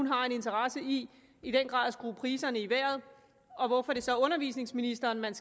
har en interesse i i den grad at skrue priserne i vejret og hvorfor det så er undervisningsministeren man